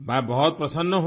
मैं बहुत प्रसन्न हूँ